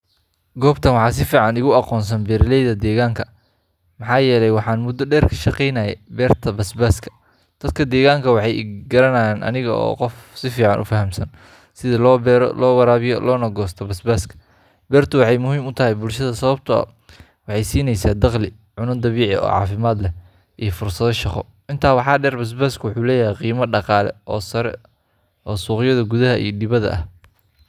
Goobtan waxaa si fiican iigu aqoonsan beeraleyda deegaanka, maxaa yeelay waxaan muddo dheer ka shaqeynayay beerta basbaaska. Dadka deegaanka waxay i garanayaan aniga oo ah qof si fiican u fahamsan sida loo beero, loo waraabiyo loona goosto basbaaska. Beertu waxay muhiim u tahay bulshada sababtoo ah waxay siinaysaa dakhli, cunno dabiici ah oo caafimaad leh, iyo fursado shaqo. Intaa waxaa dheer, basbaasku wuxuu leeyahay qiimo dhaqaale oo sare oo suuqyada gudaha iyo dibadda ah.